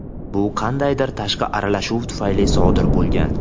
bu qandaydir tashqi aralashuv tufayli sodir bo‘lgan.